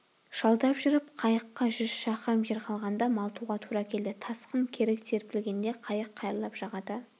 жалдап жүріп қайыққа жүз шақырым жер қалғанда малтуға тура келді тасқын кері серпілгенде қайық қайырлап жағада